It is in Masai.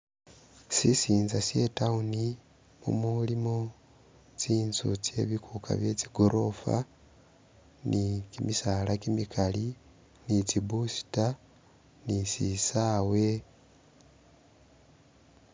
Sisinza sye i'town mumulimu tsinzu tsye bikuka bye tsigorofa, ni kimisaala kimikali ni tsi booster, ni sisawe,...